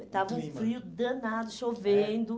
o clima. Estava um frio danado, chovendo. É?